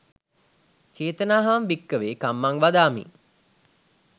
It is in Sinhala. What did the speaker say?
චේතනාහං භික්කවේ කම්මං වදාමී